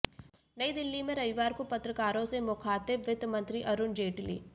नयी दिल्ली में रविवार को पत्रकारों से मुखातिब वित्त मंत्री अरुण जेटली